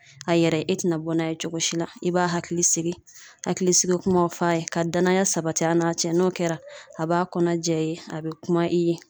A yɛrɛ e tina bɔ n'a ye cogo si la i b'a hakili sigi hakilisigi kumaw f'a ye ka danaya sabati a n'a cɛ n'o kɛra a b'a kɔnɔ jɛya i ye a be kuma i ye